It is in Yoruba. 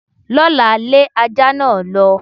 L'ọ́la, lé ajá náà lọ.